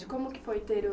Como que foi ter o